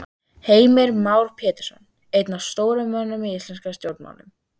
Heimir Már Pétursson: Einn af stóru mönnunum í íslenskum stjórnmálum?